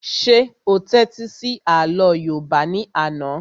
Ṣé o tẹ́tí sí àlọ́ yóòbá ní àná?